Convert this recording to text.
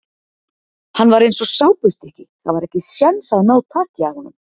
Hann var eins og sápustykki, það var ekki séns að ná taki af honum.